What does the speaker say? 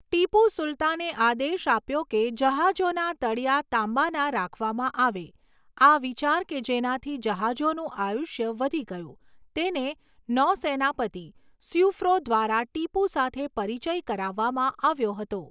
ટીપુ સુલતાને આદેશ આપ્યો કે જહાજોના તળીયા તાંબાના રાખવામાં આવે, આ વિચાર કે જેનાથી જહાજોનું આયુષ્ય વધી ગયું તેને નૌસેનાપતિ સ્યુફ્રોં દ્વારા ટીપુ સાથે પરિચય કરાવવામાં આવ્યો હતો.